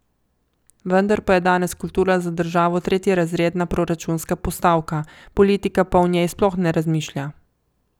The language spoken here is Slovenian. Vendar pa je danes kultura za državo tretjerazredna proračunska postavka, politika pa o njej sploh ne razmišlja.